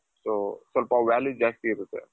so ಸ್ವಲ್ಪ value ಜಾಸ್ತಿ ಇರುತ್ತೆ.